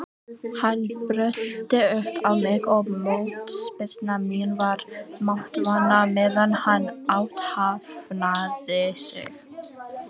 Hann brölti upp á mig og mótspyrna mín var máttvana meðan hann athafnaði sig.